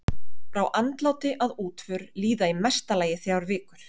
Frá andláti að útför líða í mesta lagi þrjár vikur.